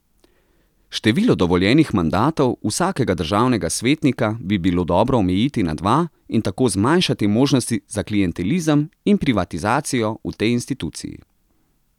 Število dovoljenih mandatov vsakega državnega svetnika bi bilo dobro omejiti na dva in tako zmanjšati možnosti za klientelizem in privatizacijo v tej instituciji.